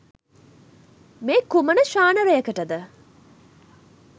මේ කුමන ශානරයකට ද?